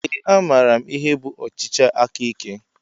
Ee a maara m ihe bụ ọchịchị aka ike.